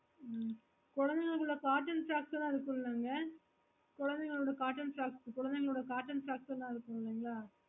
ஹ்ம் குழந்தைங்களோட cotton socks எல்லாம் இருக்கும்லங்க குழந்தைங்களோட cotton socks குழந்தைங்களோட cotton socks எல்லாம் இருக்குகிளைங்கள